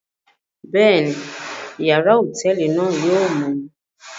Bẹẹni, yàrá hotẹẹli náà yóò mọ